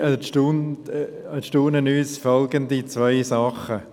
Dabei erstaunen uns folgende zwei Sachen.